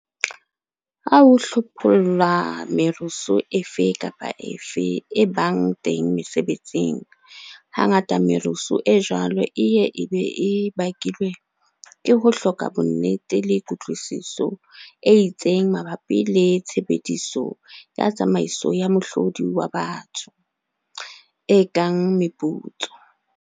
Ha o hlopholla merusu efe kapa efe e bang teng mesebetsing, hangata merusu e jwalo e ye be e bakilwe ke ho hloka bonnete le kutlwisiso e itseng mabapi le tshebediso ya tsamaiso ya mohlodi wa batho, e kang meputso.